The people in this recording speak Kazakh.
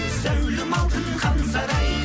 зәулім алтын хан сарай